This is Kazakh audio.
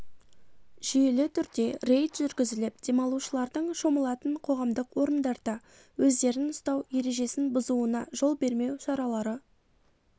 жүйелі түрде рейд жүргізіліп демалушылардың шомылатын қоғамдық орындарда өздерін ұстау ережесін бұзуына жол бермеу шаралары